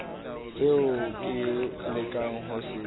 seo ke lekang ho se